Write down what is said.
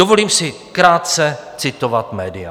Dovolím si krátce citovat média.